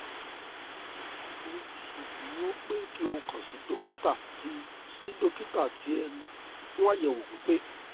mo ṣeduro pe ki o kan si dokita ti si dokita ti ẹnu fun àyẹ̀wò pípé